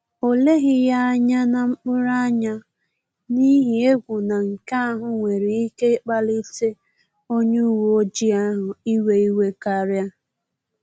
Ọ leghi ya anya na mkpuru anya, n’ihi egwu na nke ahụ nwere ike ịkpalite onye uweojii ahụ iwe iwe karia